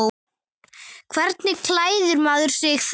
Hvernig klæðir maður sig þá?